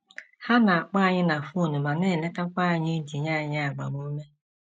Ha na - akpọ anyị na fon ma na - eletakwa anyị iji nye anyị agbamume.